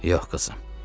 Yox, qızım.